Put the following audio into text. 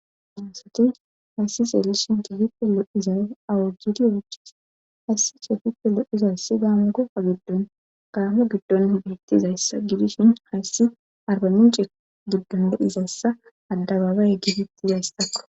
amusoti hayssizeelishin tihipe lo7iza awujidiyochis hayssi ce gipe loizayssi daamu gofa giddon gaamo giddon hbiettiizayssa gidishin hayssi arba mince giddon de7izayssa addabaaba yeggifetti yaystakko